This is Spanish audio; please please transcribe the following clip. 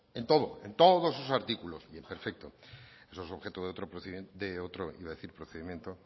en todo en todos esos artículos bien perfecto eso es objeto de otro procedimiento iba a decir procedimiento